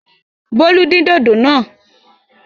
Bólú dín dòdò náà!